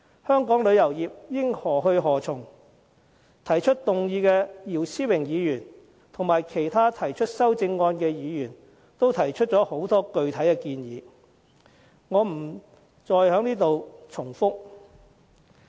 香港旅遊業應何去何從，動議議案的姚思榮議員及其他提出修正案的議員均提出了很多具體建議，我便不再重複。